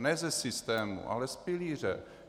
Ne ze systému, ale z pilíře.